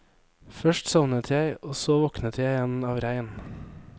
Først sovnet jeg og så våknet jeg igjen av regn.